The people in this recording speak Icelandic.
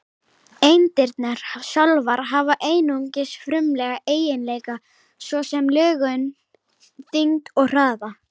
Eindirnar sjálfar hafa einungis frumlega eiginleika, svo sem lögun, þyngd og hraða.